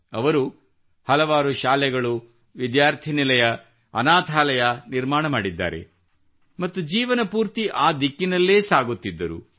ಅವರು ಹಲವಾರು ಶಾಲೆಗಳು ವಿದ್ಯಾರ್ಥಿ ನಿಲಯ ಅನಾಥಾಲಯ ನಿರ್ಮಾಣ ಮಾಡಿದ್ದಾರೆ ಮತ್ತು ಜೀವನಪೂರ್ತಿ ಈ ದಿಕ್ಕಿನಲ್ಲೇ ಸಾಗುತ್ತಿದ್ದರು